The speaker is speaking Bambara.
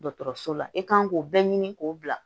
Dɔgɔtɔrɔso la i kan k'o bɛɛ ɲini k'o bila